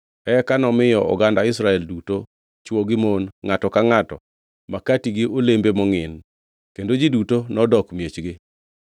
Eka nomiyo oganda Israel duto chwo gi mon, ngʼato ka ngʼato, makati gi olembe mongʼin. Kendo ji duto nodok miechgi.